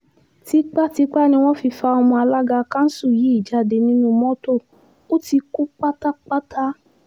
tipàtìpá ni wọ́n fi fa ọmọ alága kanṣu yìí jáde nínú mọ́tò ó ti kú pátápátá